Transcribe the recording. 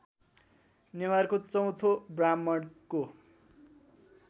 नेवारको चौथो ब्राह्मणको